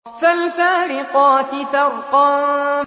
فَالْفَارِقَاتِ فَرْقًا